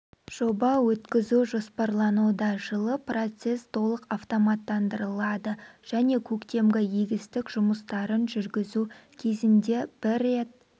жоба өткізу жоспарлануда жылы процесс толық автоматтандырылады және көктемгі егістік жұмыстарын жүргізу кезінде бір рет